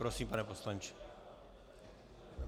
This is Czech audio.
Prosím, pane poslanče.